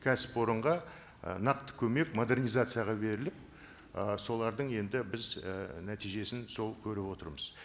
кәсіпорынға ы нақты көмек модернизацияға беріліп ы солардың енді біз і нәтижесін сол көріп отырмыз